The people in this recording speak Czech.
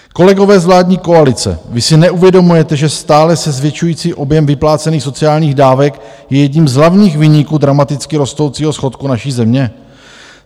Kolegové z vládní koalice, vy si neuvědomujete, že stále se zvětšující objem vyplácených sociálních dávek je jedním z hlavních viníků dramaticky rostoucího schodku naší země?